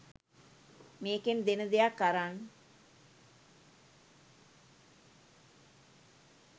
මේකෙන් දෙන දෙයක් අරන්